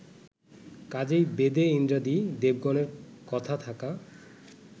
কাজেই বেদে ইন্দ্রাদি দেবগণের কথা থাকা